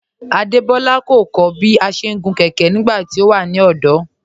Adebọla kọ̀ kọ̀ bí à ṣé ń gun kẹkẹ̀ nígbàtí ọ wà ní ọdọ́